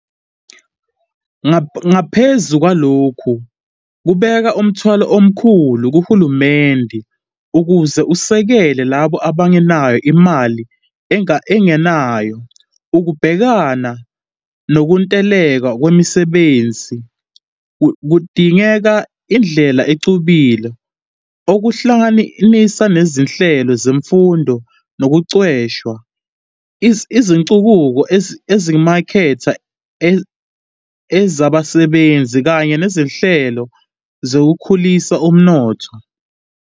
Ngaphezu kwalokho, kubeka umthwalo omkhulu kuhulumeni ukuze usekele labo abangenayo imali enganayo. Ukubhekana mokuntuleka kwemisebnzi kudinga indlela exubile, okuhlanganisa nezinhlelo zemfundo nokuqeqeshwa, izinguquko ezimaketha ezabasebenz, kanye nezinhlelo zokukhulisa umnotho.